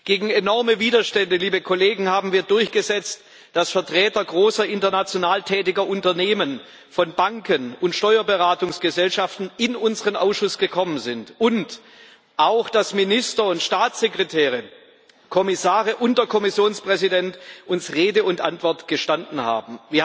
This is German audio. Gegen enorme Widerstände haben wir durchgesetzt, dass Vertreter großer international tätiger Unternehmen, von Banken und Steuerberatungsgesellschaften in unseren Ausschuss gekommen sind und auch dass Minister und Staatssekretäre, Kommissare und der Kommissionspräsident uns Rede und Antwort gestanden haben.